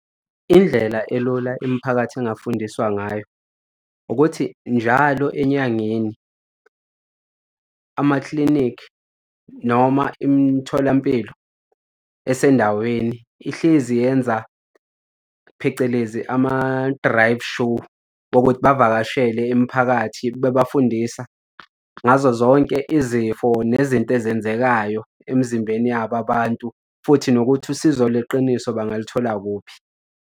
Indlela elula imiphakathi engafundiswa ngayo ukuthi njalo enyangeni amaklinikhi noma imitholampilo esendaweni ihlezi yenza phecelezi ama-drive shoe wokuthi bavakashele imiphakathi bebafundisa ngazo zonke izifo nezinto ezenzekayo emzimbeni yabo abantu futhi nokuthi usizo leqiniso bangaluthola kuphi.